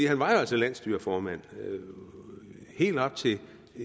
han var jo altså landsstyreformand helt op til